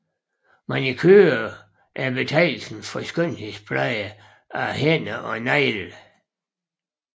Manicure er betegnelsen for skønhedspleje af hænder og negle